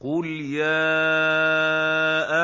قُلْ يَا